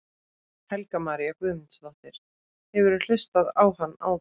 Helga María Guðmundsdóttir: Hefurðu hlustað á hann áður?